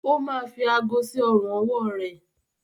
ó ma fi aago sí ọrùn-ọwọ́ rẹ.